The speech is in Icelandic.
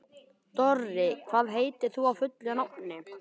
Dorri, hvað heitir þú fullu nafni?